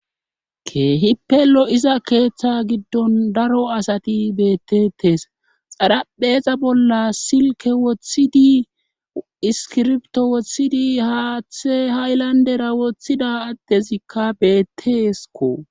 Keehi pelo iza keeththe giddon daro asati bettetes xarapheexa bolla silke woththidi iskirbto woththidi haaththe haylandera woththida attezikka beetteesko.